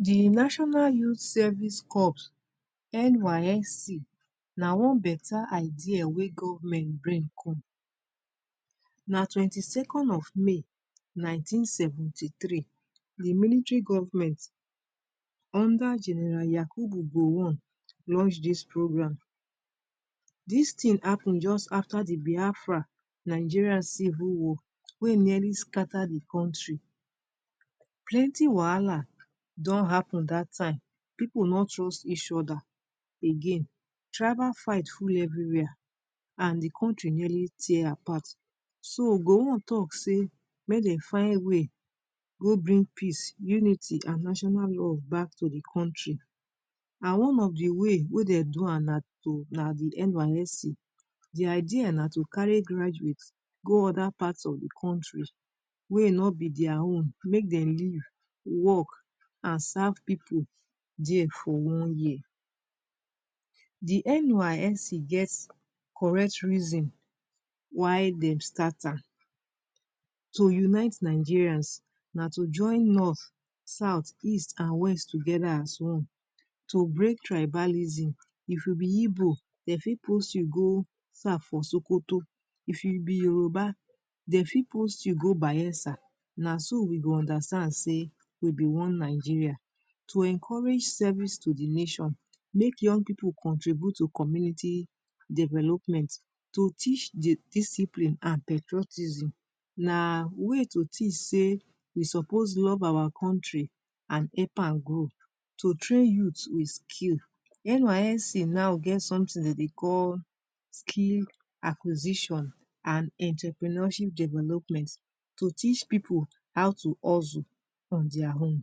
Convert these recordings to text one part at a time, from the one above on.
di national youth service corps nysc na one betta idea wey government brain cone na twenty second of may nineteen seventy three di military goverment unde general yakubu launch dis programe dis tin hapun just afta di biafra nigeria civi woar wey nearly scatter di country plenty wahala don happen dat time people no trust each other again tribal fight full everywhere and di countri nearly tear apart so gowon talk say make dem find way go bring peace Unity and national law back to di countri one of di way dey do am na nysc di idea na to carry graduate go other part of di countri wey no be dere own make dem live work and serve pipo dere for one year di nysc get correct reason why dem start an yo unite Nigerians na to join north south east and west togeda as one to break tribalism if you be Igbo dey fit post you go serve for sokoto if you be Yoruba dey fit post you go bayelsa na so we go understand say we be one Nigeria to encourage service to di nation make young pipo contribute to community development to teach di discipline and patriotism na way to teach say we suppose love our countri and help am grow to train youth a skill nysc get sometin dem dey call skill acquisition and entrepreneurship development to teach pipo how to hustle in dere own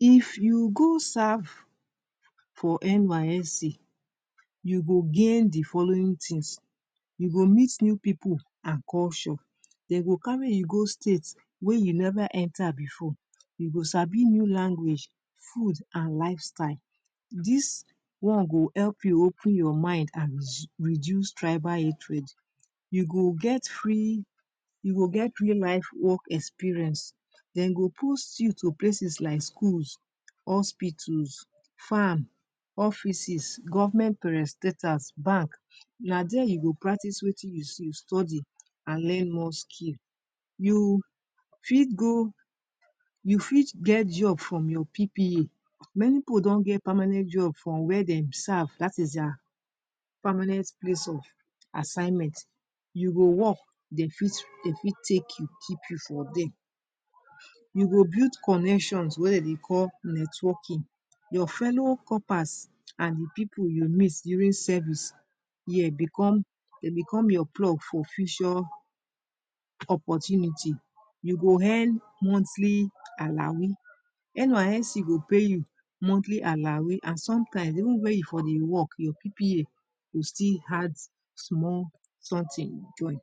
if you go serve for nysc you go gain di follow tins you go meet new pipo and culture dey go carry you go state wey you never enter before you go sabi new language food and life style did one go help you open your mind and reduce tribal hatred you go free you go get free life work experience dem go post you to places like schools hospitals farm offices government parastatals bank na dere you go practice Wetin you study and learn most skill you fit go you fit get job for your PPA many pipo don get permanent job from wey dem serve day is dere permanent place of assignment you go work dem fit take you keep you for dere you go build connection wey dem dey call networking your fellow corpas and pipo you meet during service year dey become your plug for future opportunity you go earn monthly allawee nysc go pay your monthly allawee and sometime even wey you for dey work your PPA go still add small sometin join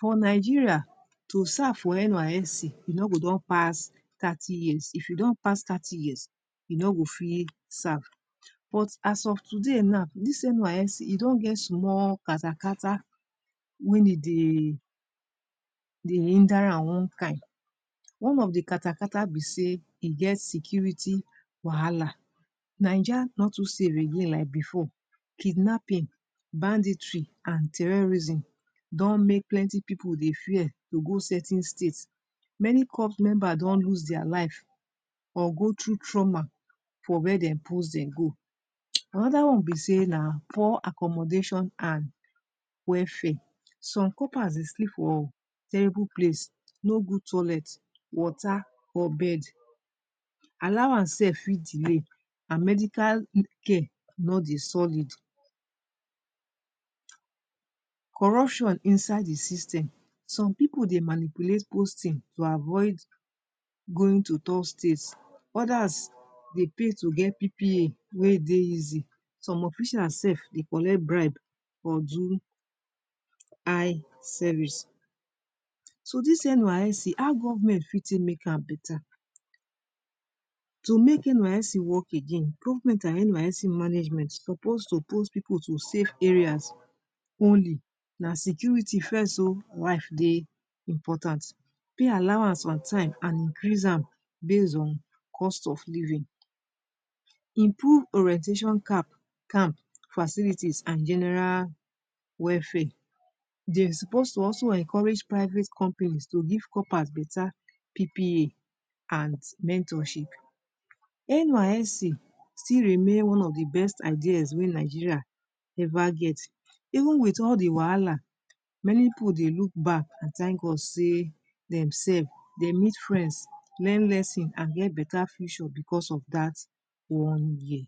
for Nigeria to serve for nysc you no go don pass thirty years if you don pass thirty years you no go fit serve but as of today now dis nysc e don get small ka ta ka ta wey e dey hinder am one kind ka ta ka ta be say e get security wahala naija no to safe again like before kidnapping banditry and terorism don make plenti pipo dey fear to go certain state many corp members don loss dere life or go through trauma for wey dem post dem go and one be say na poor accommodation and welfare some corpa dey sleep for terrible place no good toilet wata or bed allowance slf fit delay and medical care no dey solid corruption inside di system some pipo dey manipulate posting to avoid going to dose states others dey pay to get PPA wey dey easy some officials slf dey collect bribe or do eye service dis nysc how government fit make am better to make nysc work again government and nysc management suppose to post pipo to safe areas only na security first oh life dey important pay allowance on time and increase am base on cost of living improve orientation camp facilities and general welfare dey suppose to also encourage private companies to give corpers beta PPA and mentorship nysc still remain one of di best ideas wey Nigeria eva get even with all the wahala many pipo dey look back and thank God say dem slf dem meet friends learn lesson and learn beta future because of that one year